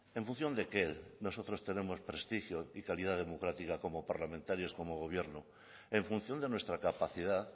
en función de qué nosotros tenemos prestigio y calidad democrática como parlamentarios como gobierno en función de nuestra capacidad